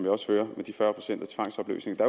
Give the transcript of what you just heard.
også hører med de fyrre procent og tvangsopløsning og